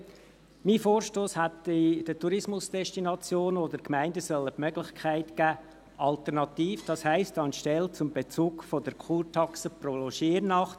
Mein Vorstoss hätte den Tourismusdestinationen oder Gemeinden die Möglichkeit geben sollen, die Kurtaxe als Pauschale festzulegen, anstelle des Bezugs der Kurtaxe pro Logiernacht.